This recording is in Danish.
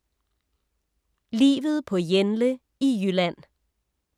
Livet på Jenle i Jylland